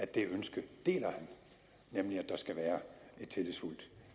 det ønske at der skal være et tillidsfuldt